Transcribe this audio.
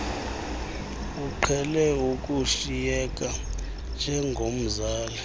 uqhele ukushiyeka njengomzali